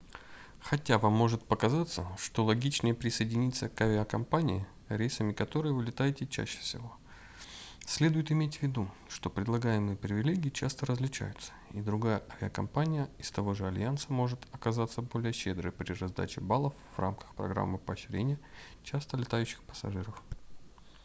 хотя вам может показаться что логичнее присоединиться к авиакомпании рейсами которой вы летаете чаще всего следует иметь в виду что предлагаемые привилегии часто различаются и другая авиакомпания из того же альянса может оказаться более щедрой при раздаче баллов в рамках программы поощрения часто летающих пассажиров